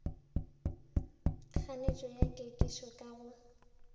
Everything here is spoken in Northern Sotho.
kganetšo ya kekišo ka go